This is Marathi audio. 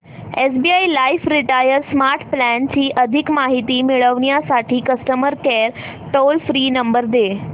SBI life retire smart plan ची अधिक माहिती मिळविण्यासाठी customer care toll free number दे